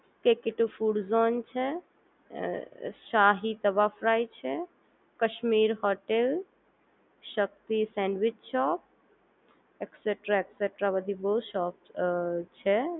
કેકિતો food zone છે Shahi tawa fry છે Kashmir hotel Shakti sandwich shop extra extra બધી બોવ શોપ અ છે